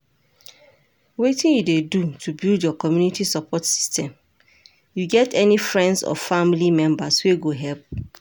Wetin you dey do to build your community support system, you get any friends or family members wey go help?